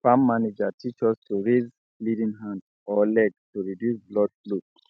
farm manager teach us to raise bleeding hand or leg to reduce blood flow